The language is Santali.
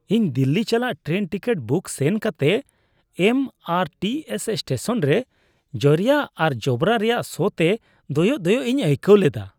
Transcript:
ᱤᱧ ᱫᱤᱞᱞᱤ ᱪᱟᱞᱟᱜ ᱴᱨᱮᱱ ᱴᱤᱠᱤᱴ ᱵᱩᱠ ᱥᱮᱱ ᱠᱟᱛᱮ M R T S station ᱨᱮ ᱡᱚᱨᱭᱟ ᱟᱨ ᱡᱚᱵᱽᱨᱟ ᱨᱮᱭᱟᱜ ᱥᱚᱛᱮ ᱫᱚᱭᱚᱜ ᱫᱚᱭᱚᱜ ᱤᱧ ᱟᱹᱭᱠᱟᱹᱣ ᱞᱮᱫᱟ ᱾